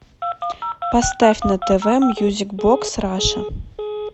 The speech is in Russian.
поставь на тв мьюзик бокс раша